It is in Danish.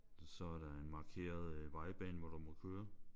Så er der en markeret vejbane hvor du må køre